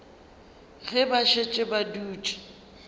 ge ba šetše ba dutše